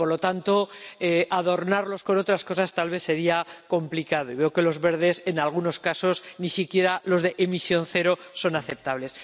Y, por lo tanto, adornarlos con otras cosas tal vez sería complicado, y veo que para los Verdes, en algunos casos, ni siquiera los de emisión cero son aceptables.